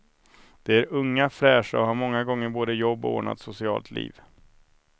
De är unga, fräscha och har många gånger både jobb och ordnat socialt liv.